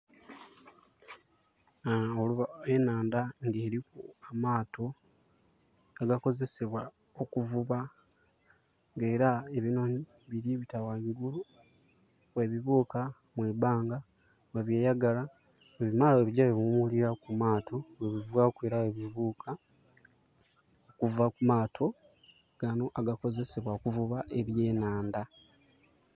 Enhanda nga eliku amaato agakozesebwa okuvuba nga era ebinhonhi biri bita ghangulu bwe bibuuka mu ibanga bwebyeyagala, bwe bimala bwebigya bwe biwumulilaku ku maato, bwe bivaku era bwe bibuka okuva ku maato ganho agakozesebwa okuvuba ebye nhandha